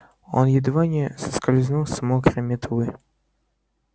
он едва не соскользнул с мокрой метлой